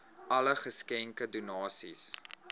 alle geskenke donasies